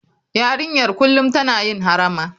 Yarinyar kullum tana yin harama.